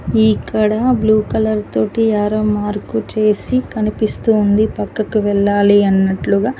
ఈక్కడ blue colour తోటి arrow mark చేసి కనిపిస్తుంది పక్కకు వెళ్లాలి అన్నట్లుగా.